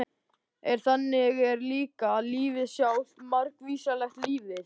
En þannig er líka lífið sjálft- margvíslegt lífið.